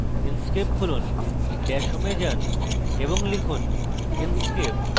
inkscape খুলুন dash home এ যান এবং লিখুন inkscape